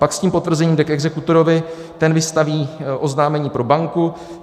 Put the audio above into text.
Pak s tím potvrzením jde k exekutorovi, ten vystaví oznámení pro banku.